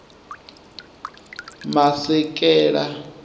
masekela